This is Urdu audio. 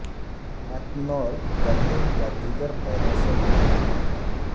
ایتنول گدھے یا دیگر پودوں سے بنا ہوا ہے